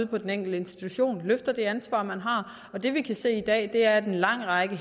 på den enkelte institution løfter det ansvar man har det vi kan se i dag er at en lang række